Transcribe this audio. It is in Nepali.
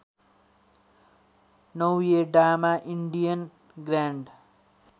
नौयडामा इन्डियन ग्रैन्ड